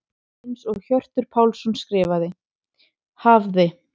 Eins og Hjörtur Pálsson skrifar: Hafði.